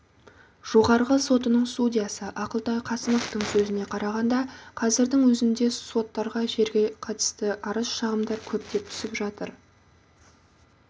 жоғарғы сотының судьясы ақылтай қасымовтың сөзіне қарағанда қазірдің өзінде соттарға жерге қатысты арыз-шағымдар көптеп түсіп жатыр